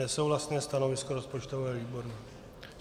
Nesouhlasné stanovisko rozpočtového výboru.